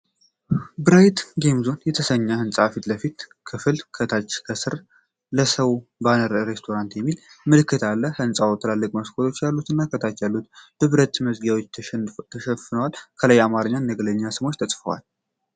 ብራይት ጌም ዞን የተሰኘው ሕንፃ የፊት ለፊት ክፍል፣ ከታች "ሰውለሰው ባርና ሬስቶራንት" የሚል ምልክት አለ። ሕንፃው ትላልቅ መስኮቶች ያሉትና፣ ከታች ያሉት በብረት መዝጊያዎች ተሸፍነዋል። ከላይ በአማርኛና በእንግሊዝኛ ስሞች ተጽፈዋል።